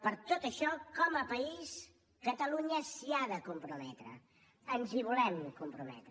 per tot això com a país catalunya s’hi ha de comprometre ens hi volem comprometre